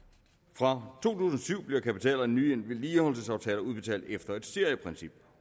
fra to tusind og syv blev kapitaler af nye vedligeholdelsesaftaler udbetalt efter et serieprincip